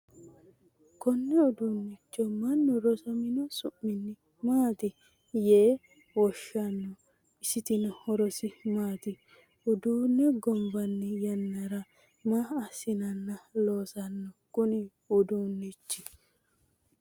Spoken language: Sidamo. konne uduunnicho mannu rosamino su'minni maati yee woshshanno? isitino horosi maati? uduunne gombanni yannara maa assinanna loosanno kuni uduunnichi ?